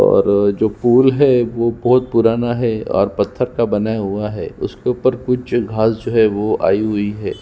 और जो पूल है वह बहुत पुराण है और पत्थरत का बना हुआ है उस के ऊपर कुछ घास जो हे आई हुई है --